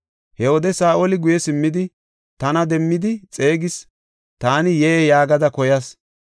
He wode Saa7oli guye simmidi tana demmidi xeegis. Taani, ‘Yee’ yaagada koyas.